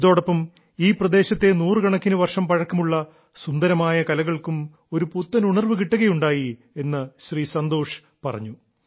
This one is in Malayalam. ഇതോടൊപ്പം ഈ പ്രദേശത്തെ നൂറുകണക്കിന് വർഷം പഴക്കമുള്ള സുന്ദരമായ കലകൾക്കും ഒരു പുത്തനുണർവ്വ് കിട്ടുകയുണ്ടായി എന്ന് ശ്രീ സന്തോഷ് പറഞ്ഞു